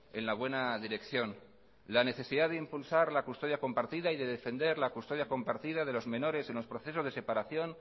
en la buena dirección la necesidad de impulsar la custodia compartida y de defender la custodia compartida de los menores en los procesos de separación